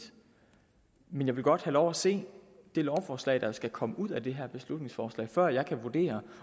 men jeg vil godt have lov at se det lovforslag der skal komme ud af det her beslutningsforslag før jeg kan vurdere